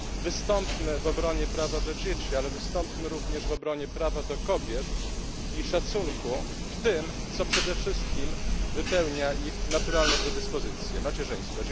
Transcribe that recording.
Wystąpmy w obronie prawa do dzieci, ale wystąpmy również w obronie prawa do kobiet i szacunku w tym, co przede wszystkim wypełnia ich naturalne predyspozycje macierzyństwie.